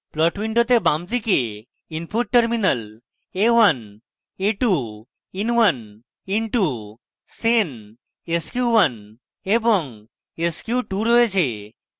plot window বামদিকে input terminals a1 a2 in1 in2 sen sq1 এবং sq2 রয়েছে